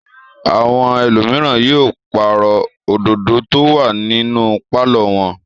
Àwọn ẹlòmíràn yóò pàrọ̀ òdòdó tó wà nínú pálọ̀ wọn.